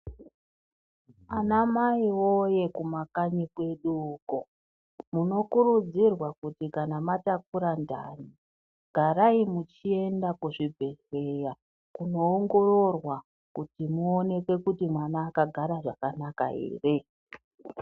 Anamai voye kumakanyi kwedu uko, munokurudzirwa kuti kana matakura ndani. Garai muchienda kuzvibhedhleya kunoongororwa kuti muonekwe kuti mwana vakagara zvakanaka ere.